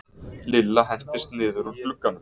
Lilla hentist niður úr glugganum.